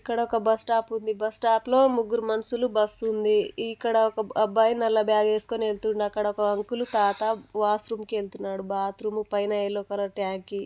ఇక్కడ ఒక bus stop ఉంది ఈ బస్సు స్టాప్ లో ముగ్గురు మనుషులు బస్సు ఉంది ఇక్కడ ఒక అబ్బాయి నల్ల బాగ్ వేస్కొని వేల్తుండు అక్కడ ఒక అంకుల్ వాష్ రూమ్ కి వేల్తుండు బాత్రూం పైన యెల్లో కలర్ ట్యాంక్ --